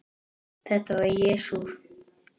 Þetta var Jesús